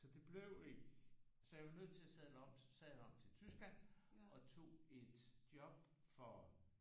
Så det blev ikke så jeg var nødt til at sadle om sadle om til Tyskland og tog et job for